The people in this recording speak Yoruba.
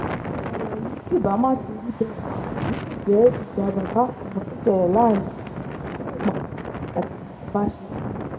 ọ̀rọ̀ yìí kì bá má ti rí bẹ́ẹ̀ bí kò jẹ́ ìjà bàbà àtọmọ tó ṣẹlẹ̀ láàrin oṣíọ́milé àti ọbaṣẹ́kí